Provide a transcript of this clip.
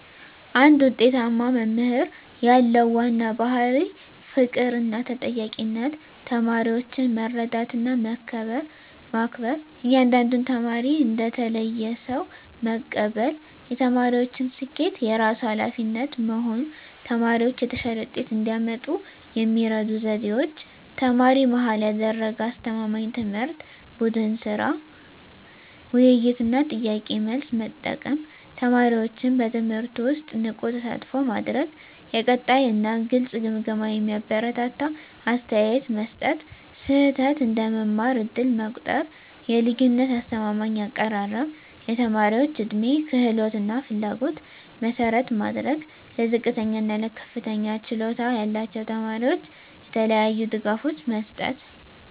አንድ ውጤታማ መምህር ያለው ዋና ባሕርይ ፍቅርና ተጠያቂነት ተማሪዎችን መረዳትና መከበር እያንዳንዱን ተማሪ እንደ ተለየ ሰው መቀበል የተማሪዎችን ስኬት የራሱ ኃላፊነት መሆን ተማሪዎች የተሻለ ውጤት እንዲያመጡ የሚረዱ ዘዴዎች ተማሪ-መሃል ያደረገ አስተማማኝ ትምህርት ቡድን ሥራ፣ ውይይት እና ጥያቄ–መልስ መጠቀም ተማሪዎችን በትምህርቱ ውስጥ ንቁ ተሳትፎ ማድረግ የቀጣይ እና ግልጽ ግምገማ የሚያበረታታ አስተያየት መስጠት ስህተት እንደ መማር ዕድል መቆጠር የልዩነት አስተማማኝ አቀራረብ የተማሪዎች ዕድሜ፣ ክህሎት እና ፍላጎት መሠረት ማድረግ ለዝቅተኛ እና ለከፍተኛ ችሎታ ያላቸው ተማሪዎች የተለያዩ ድጋፎች መስጠት